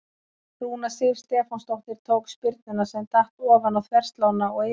Rúna Sif Stefánsdóttir tók spyrnuna sem datt ofan á þverslánna og yfir.